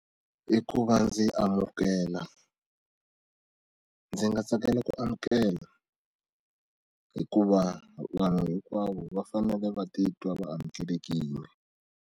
I ku va ndzi amukela ndzi nga tsakela ku amukela hikuva vanhu hinkwavo va fanele va titwa va amukelekile.